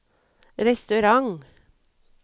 restaurant